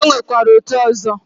E nwekwara otu ọzọ.